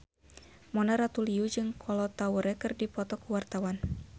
Mona Ratuliu jeung Kolo Taure keur dipoto ku wartawan